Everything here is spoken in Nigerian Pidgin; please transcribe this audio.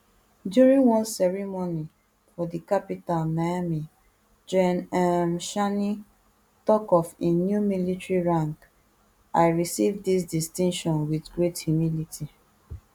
during one ceremony for di capital niamey gen um tchiani tok of im new military rank i receive dis distinction wit great humility